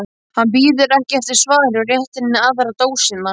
Hann bíður ekki eftir svari og réttir henni aðra dósina.